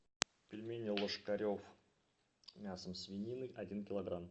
пельмени ложкарев с мясом свинины один иклограмм